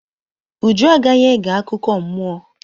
Uju agaghị ege akụkọ mmụọ.